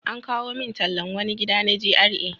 An kawo min tallan wani gida na GRA.